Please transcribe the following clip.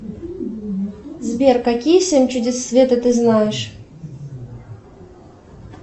сбер какие семь чудес света ты знаешь